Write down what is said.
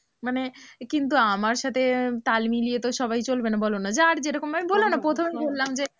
মানে কিন্তু আমার সাথে তাল মিলিয়ে তো সবাই চলবে না? বলো না যার যেরকম বললাম না প্রথমেই বললাম যে